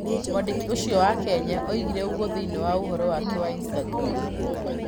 Mwandĩki ũcio wa Kenya oigire ũguo thĩinĩ wa ũvoro wake wa Instagram.